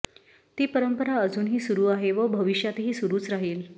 ती परंपरा अजूनही सुरू आहे व भविष्यातही सुरूच राहील